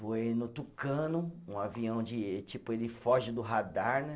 Voei no Tucano, um avião de, tipo, ele foge do radar, né?